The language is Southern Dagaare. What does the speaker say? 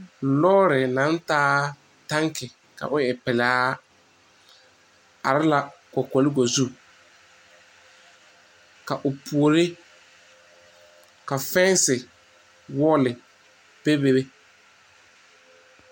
Lɔɔre naŋ taa tanki ka o e pelaa are la kɔkɔlego zu ka o puori ka fɛnse wɔɔlɔ bebe.